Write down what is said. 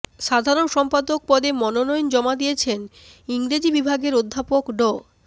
সাধারণ সম্পাদক পদে মনোনয়ন জমা দিয়েছেন ইংরেজি বিভাগের অধ্যাপক ড